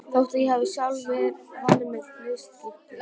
Þótt ég hafi sjálf valið mér hlutskiptið.